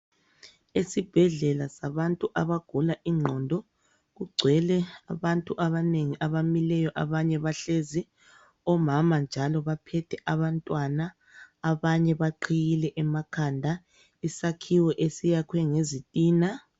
Esibhedlela sabantu abagula igqondo kugcwele abantu abanengi abamileyo, abanye bahlezi omama njalo baphethe abantwana abanye baqhiyile emakhanda. Isakhiwo esiyakhwe ngezitina.